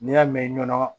N'i y'a mɛn nɔnɔ